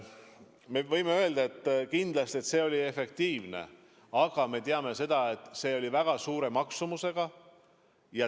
Me võime öelda, et kindlasti see oli efektiivne, aga me teame, et see oli väga suure maksumusega.